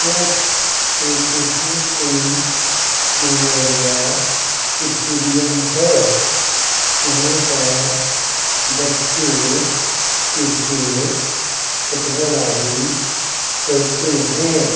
यह Shri Krishna Singh memorial stadium है यहाँ पर बच्चे क्रिकेट फुटबॉल आदि खेलते हैं।